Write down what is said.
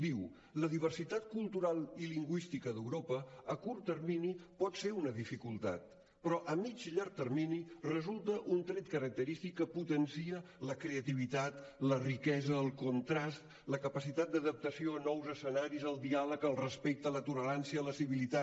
diu la diversitat cultural i lingüística d’europa a curt termini pot ser una dificultat però a mitjà i llarg termini resulta un tret característic que potencia la creativitat la riquesa el contrast la capacitat d’adaptació a nous escenaris el diàleg el respecte la tolerància la civilitat